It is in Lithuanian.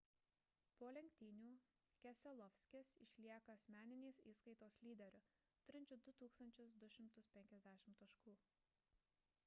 po lenktynių keselowskis išlieka asmeninės įskaitos lyderiu turinčiu 2 250 taškų